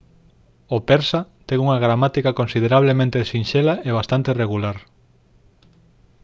o persa ten unha gramática considerablemente sinxela e bastante regular